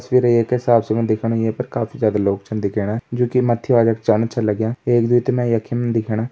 तस्वीर एक साफ़ सूं दिख्याणु यें पर काफी ज्यादा लोग छिन दिखयाणा जो की मथि जाना छिन लाग्यां एक दुइ तोह म यखी मा दिखयाणा।